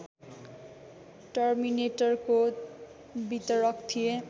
टर्मिनेटरको वितरक थिए